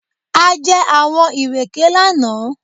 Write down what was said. A jẹ àwọn ìrèké lánàá